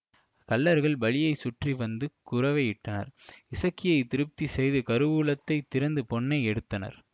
கள்ளர்கள் பலியைச் சுற்றி வந்து குரவையிட்டனர் இசக்கியை திருப்தி செய்து கருவூலத்தைத் திறந்து பொன்னை எடுத்தனர்